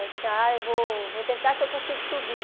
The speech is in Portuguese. Ah, eu vou vou tentar se eu consigo subir.